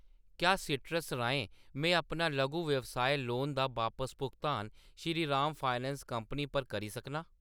क्या सीट्रस राहें में अपना लघु व्यवसाय लोन दा बापस भुगतान श्रीराम फाइनैंस कंपनी पर करी सकनां ?